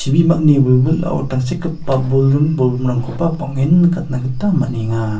chibimani wilwilao tangsekgipa boldim bolgrimrangkoba bang·en nikatna gita man·enga.